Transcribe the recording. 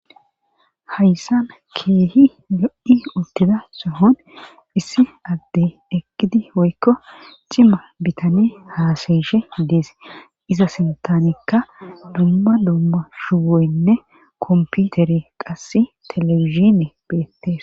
Hayssan keehi lo7i uttida sohon issi addey ekidi oykko cima bitani haasayishe dees iza sentanikka dumma dumma shuwoynne komputeri qasse telewishine beettees.